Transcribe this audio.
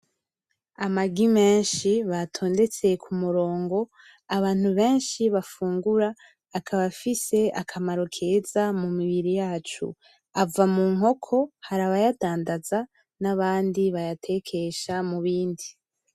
Amagi menshi batondetse ku murongo, abantu benshi bafungura , akaba afise akamaro keza mu mibiri yacu. Ava mu nkoko, hari abayadandaza, n’abandi bayatekesha mu bindi.